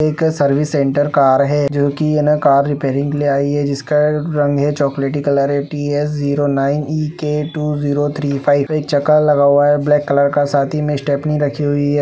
एक service center car है जो कि मैंने कार रिपेयरिंग के लिए आई है। जिसका रंग है चॉकलेटी कलर है। T S zero nine E K two zero three five. एक चक्का लगा हुआ है ब्लैक कलर का साथ ही में स्टेफनी रखी हुई है।